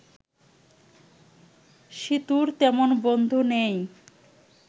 সীতুর তেমন বন্ধু নেই